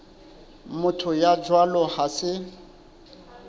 motho ya jwalo ha se